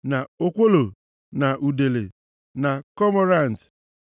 na okwolo na udele, na komorant,